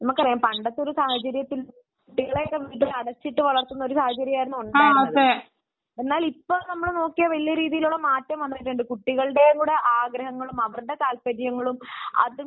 പണ്ടത്തെ ഒരു സാഹചര്യത്തിൽ സ്ത്രീകളെയൊക്കെ വീട്ടിൽ അടച്ചിട്ടു വളർത്തുന്ന ഒരു സാഹചര്യമാണ് ഉണ്ടായിരുന്നത് എന്നാൽ ഇപ്പോൾ നമ്മൾ നോക്കിയാൽ വലിയ രീതിയിലുള്ള മാറ്റങ്ങൾ വന്നിട്ടുണ്ട് കുട്ടികളുടെ കൂടി ആഗ്രഹങ്ങളും അവരുടെ താല്പര്യങ്ങളും